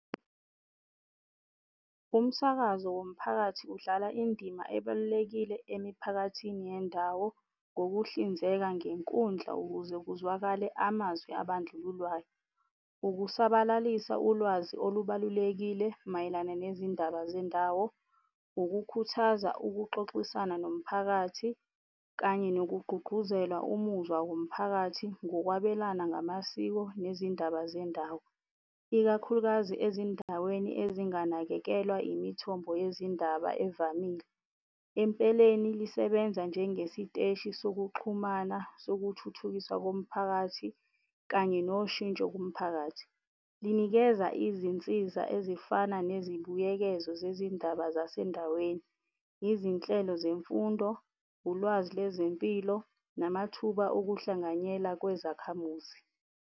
Umsakazo womphakathi udlala indima ebalulekile emiphakathini yendawo ngokuhlinzeka ngenkundla ukuze kuzwakale amazwi abandlululwayo. Ukusabalalisa ulwazi olubalulekile mayelana nezindaba zendawo, ukukhuthaza ukuxoxisana nomphakathi kanye nokugqugquzela umuzwa womphakathi ngokwabelana ngamasiko nezindaba zendawo, ikakhulukazi ezindaweni ezinganakekelwa yimithombo yezindaba evamile. Empeleni, lisebenza njengesiteshi sokuxhumana sokuthuthukiswa komphakathi kanye noshintsho kumphakathi. Linikeza izinsiza ezifana nezibuyekezo zezindaba zasendaweni, yizinhlelo zemfundo, ulwazi lezempilo namathuba okuhlanganyela kwezakhamuzi.